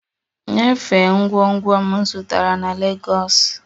Nyefee ngwongwo m zụtara na Legọs!